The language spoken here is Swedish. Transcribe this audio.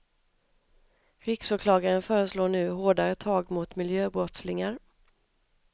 Riksåklagaren föreslår nu hårdare tag mot miljöbrottslingar.